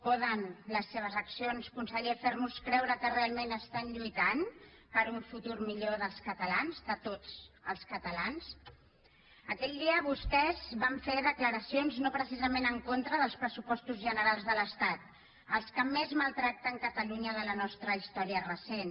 poden les seves accions conseller fer nos creure que realment estan lluitant per un futur millor dels catalans de tots els catalans aquell dia vostès van fer declaracions no precisament en contra dels pressupostos generals de l’estat els que més maltracten catalunya de la nostra història recent